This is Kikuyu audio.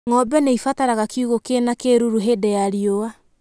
Ng'ombe nĩ ibataraga kiugũ kĩ na kĩruru hĩndĩ ya riũa.